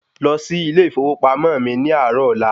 Lọ sí ilé ìfowópamọ́ mi ní àárọ̀ ọ̀la!